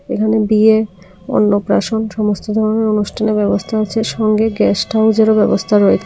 এখানে বিয়ের অন্নপ্রাশন সমস্ত ধরনের অনুষ্ঠানের ব্যবস্থা আছে সঙ্গে গেস্ট হাউস এরও ব্যবস্থা রয়ে --